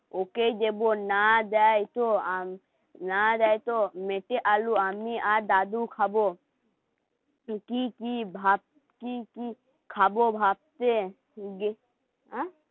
ওকেই দেবো না দেয় তো , মেটে আলু, আমি আর দাদু খাবো. তো কি কি, ভাত কি কি খাবো ভাতে? অ্যা